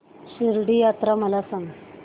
शिर्डी यात्रा मला सांग